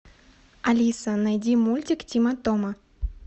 алиса найди мультик тима тома